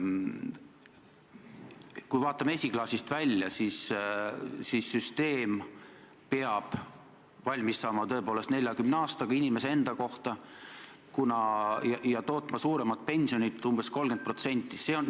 Kui vaatame esiklaasist välja, siis süsteem peab valmis saama tõepoolest 40 aastaga inimese enda kohta ja tootma umbes 30% suuremat pensionit.